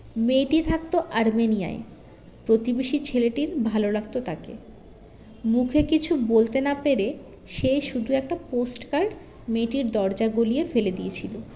মেয়েটি থাকতো আর্মেনিয়ায় প্রতিবেশী ছেলেটির ভালো লাগতো তাকে মুখে কিছু বলতে না পেরে সে শুধু একটা post card মেয়েটির দরজা গলিয়ে ফেলে দিয়েছিলো